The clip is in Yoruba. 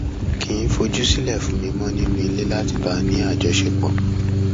kì í fojú sílẹ fún mi mọ nínú ilé láti bá a ní àjọṣepọ